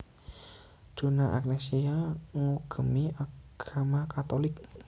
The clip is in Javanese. Donna Agnesia ngugemi agama Katolik